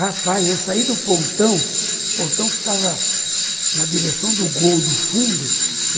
Rapaz, eu saí do pontão, o pontão ficava na direção do gol, do fundo.